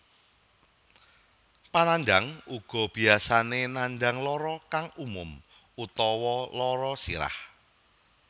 Panandhang uga biyasane nandhang lara kang umum utawa lara sirah